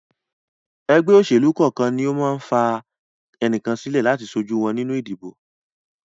Ẹgbẹ́ òṣèlú kọ̀ọ̀kan ma ń fà ẹnìkan sílẹ̀ láti ṣojú wọn nínú ìdìbò